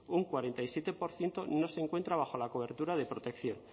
un cuarenta y siete por ciento no se encuentra bajo la cobertura de protección